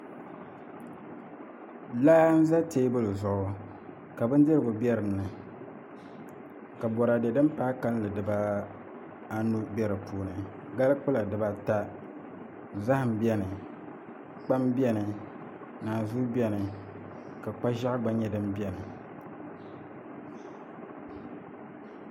Laa n ʒɛ teebuli zuɣu ka bindirigu bɛ dinni la boraadɛ din paai kanli dibaanu bɛ dinni gali kpula dibata zaham bɛni kpam bɛni naanzuu bɛni ka kpa ʒiɛɣu gba nyɛ din bɛni